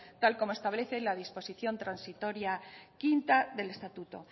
tal y como establece la disposición transitoria quinta del estatuto